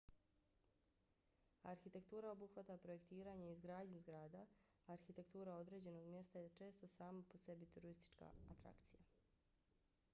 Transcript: arhitektura obuhvata projektiranje i izgradnju zgrada. arhitektura određenog mjesta je često sama po sebi turistička atrakcija